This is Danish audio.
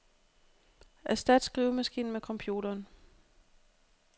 Erstat skrivemaskinen med computeren.